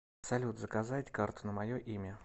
салют заказать карту на мое имя